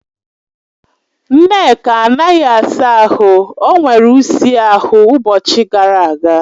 Nneka anaghị asa ahụ, o nwere ụsi ahụ ụbọchị gara aga